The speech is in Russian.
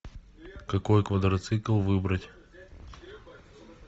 какой квадроцикл выбрать